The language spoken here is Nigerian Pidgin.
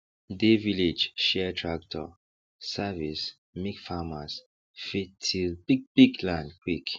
dey village share tractor service make farmers fit till bigbig land quick